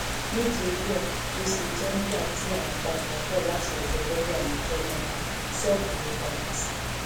nítorí ẹ ló ṣe jẹ nígbà tí à ń padà bọ láti odò lọọyà níjọ náà ṣọọbù la padà sí